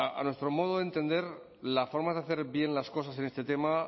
a nuestro modo de entender la forma de hacer bien las cosas en este tema